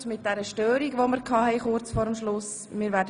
Kurz vor Schluss hatten wir diese Störung.